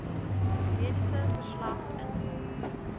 mediese verslag invul